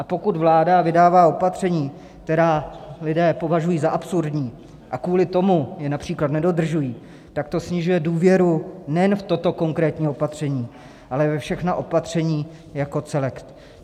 A pokud vláda vydává opatření, která lidé považují za absurdní, a kvůli tomu je například nedodržují, tak to snižuje důvěru nejen v toto konkrétní opatření, ale ve všechna opatření jako celek.